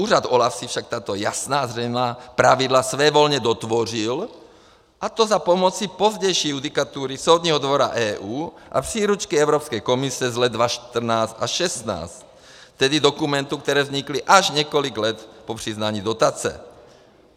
Úřad OLAF si však tato jasná a zřejmá pravidla svévolně dotvořil, a to za pomocí pozdější judikatury Soudního dvora EU a příručky Evropské komise z let 2014 až 2016, tedy dokumentů, které vznikly až několik let po přiznání dotace.